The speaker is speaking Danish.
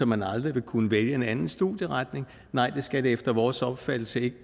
man aldrig vil kunne vælge en anden studieretning nej det skal det efter vores opfattelse ikke